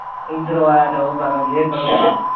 ਇਧਰੋ ਆਇਆ ਤੇ ਉਹ ਕਰੋ ਯੇ ਕਰੋ